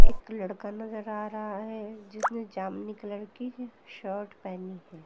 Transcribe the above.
एक लड़का नजर आ रहा है जिसने जामनी कलर की शर्ट पहनी है।